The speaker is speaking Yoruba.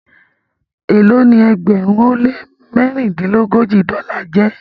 Elo ní ẹgbẹrin o le mẹrindilogoji dola jé?